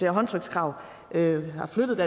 håndtrykskrav har flyttet